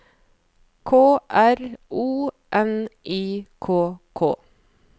K R O N I K K